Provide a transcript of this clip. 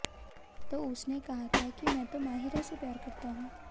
तो उसने कहा था कि मैं तो माहिरा से प्यार करता हूं